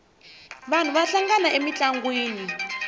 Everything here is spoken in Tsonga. vanhu va hlangana emintlangwini